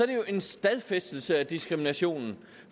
det jo en stadfæstelse af diskriminationen